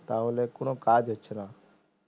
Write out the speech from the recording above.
তাহলে কোনো কাজ হচ্ছে না